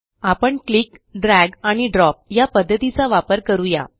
आपण click drag आणि drop या पध्दतीचा वापर करू या